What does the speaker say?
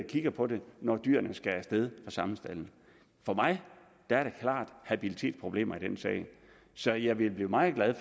kigger på det når dyrene skal af sted fra samlestaldene for mig er der klart habilitetsproblemer i den sag så jeg vil blive meget meget